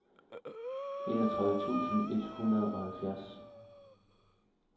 enogtredive tusind et hundrede og halvfjerds